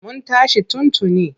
Mun tashi tun tuni.